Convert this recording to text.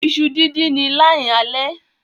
Iṣu din din Ni line ale.